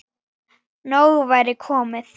Nóg væri komið.